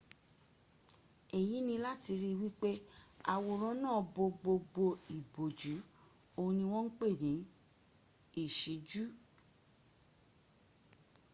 èyí ni láti ri wípé àwòrán náà bo gbogbo ìbòjú. òhun ni wọ́n ń pè ní ìṣíjú